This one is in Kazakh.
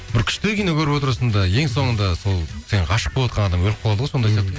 бір күшті кино көріп отырасың да ең соңында сол сен ғашық болып отырған адам өліп қалады ғой сондай